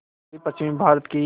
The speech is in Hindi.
उत्तरपश्चिमी भारत की